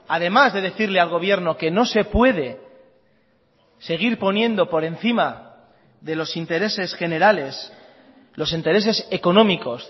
además de decirle al gobierno que no se puede seguir poniendo por encima de los intereses generales los intereses económicos